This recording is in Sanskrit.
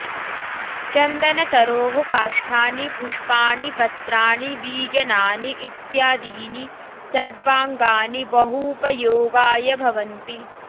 चन्दनतरोः काष्ठानि पुष्पाणि पत्राणि बीजानानि इत्यादीनि सर्वाङ्गानि बहूपयोगाय भवन्ति